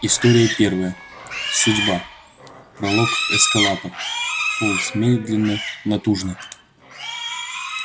история первая судьба пролог эскалатор полз медленно натужно